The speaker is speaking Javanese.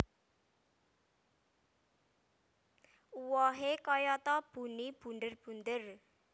Uwohe kayata buni bunder bunder